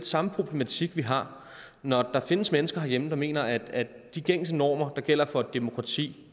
samme problematik vi har når der findes mennesker herhjemme der mener at de gængse normer der gælder for et demokrati